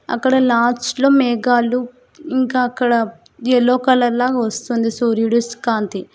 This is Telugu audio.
అక్కడ లాస్ట్లో మేఘాలు ఇంకా అక్కడ ఎల్లో కలర్ లాగ వస్తుంది సూర్యుడుస్ కాంతి.